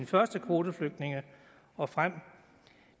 første kvoteflygtninge og frem